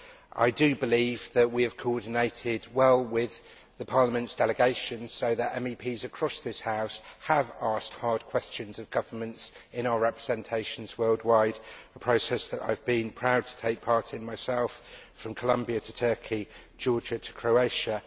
I believe that we have coordinated well with the Parliament's delegations so that MEPs across this House have asked hard questions of governments in our representations worldwide, a process that I have been proud to take part in myself from Columbia to Turkey, Georgia to Croatia.